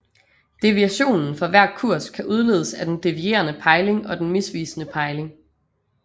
Deviationen for hver kurs kan udledes af den devierende pejling og den misvisende pejling